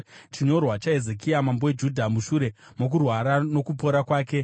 Chinyorwa chaHezekia mambo weJudha mushure mokurwara nokupora kwake: